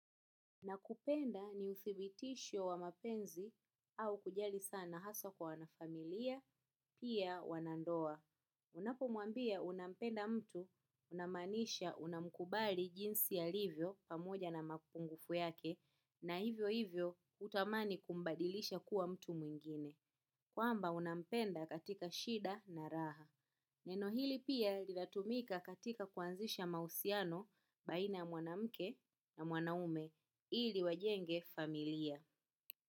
Nakupenda ni uthibitisho wa mapenzi au kujali sana hasa kwa wanafamilia, pia wanandoa. Unapo mwambia unampenda mtu, unamaanisha unamkubali jinsi alivyo pamoja na mapungufu yake, na hivyo hivyo hutamani kumbadilisha kuwa mtu mwingine. Kwamba unapenda katika shida na raha. Neno hili pia linatumika katika kuanzisha mahusiano baina ya mwanamke na mwanaume ili wajenge familia.